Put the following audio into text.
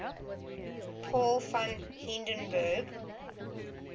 paul von hindenburg